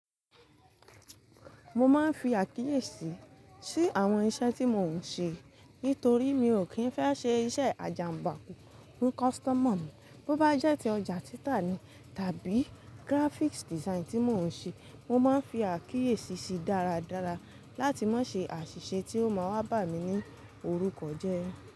Mo máa ń fi àkíyèsí sí àwọn iṣẹ́ tí mò ń ṣe nítorí mi ò kí ń fẹ́ ṣe iṣẹ́ àjàǹbáku fún customer mi. Bo bá jẹ́ ti ọjà tita ni tàbí graphics design tí mò ń ṣe, mo máa ń fi àkíyèsí ṣi dáradára láti má ṣe àṣìṣe tí ó máa wá bà mí ní orúkọ jẹ.